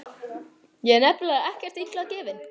Ég er nefnilega ekkert illa gefinn.